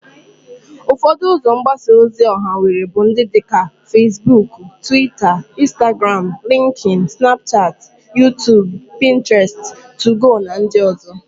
Ufodo uzo mgbasa ozi oha enwere bu ndi dika Fesbuk, Twita, Instagramu, Linkin, snapuchati, Yutubu, Pinteresti, Tugo, na ndi ozo.